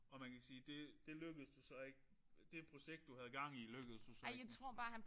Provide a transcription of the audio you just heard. Og man sige det det lykkedes jo så ikke. Det projekt du havde gang i lykkedes jo så ikke rigtigt